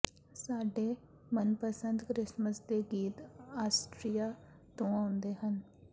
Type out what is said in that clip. ਸਾਡੇ ਮਨਪਸੰਦ ਕ੍ਰਿਸਮਸ ਦੇ ਗੀਤ ਆਸਟ੍ਰੀਆ ਤੋਂ ਆਉਂਦੇ ਹਨ